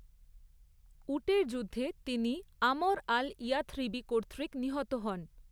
উটের যুদ্ধে তিনি আমর আল ইয়থরিবি কর্তৃক নিহত হন।